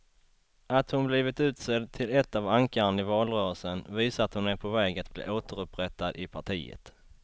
Att hon blivit utsedd till ett av ankaren i valrörelsen visar att hon är på väg att bli återupprättad i partiet.